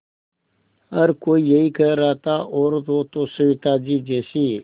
हर कोई यही कह रहा था औरत हो तो सविताजी जैसी